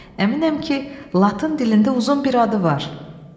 Əminəm ki, latın dilində uzun bir adı var.